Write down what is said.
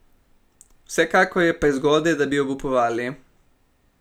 Vsekakor je prezgodaj, da bi obupovali.